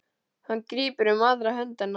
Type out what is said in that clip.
Hann grípur um aðra hönd hennar.